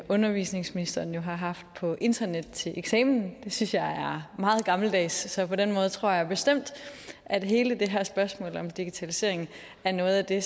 undervisningsministeren jo haft på brug af internet til eksamen det synes jeg meget gammeldags så på den måde tror jeg bestemt at hele det her spørgsmål om digitalisering er noget af det